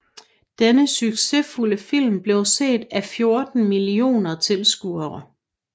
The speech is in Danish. Denne succesfulde film blev set af 14 mio tilskuere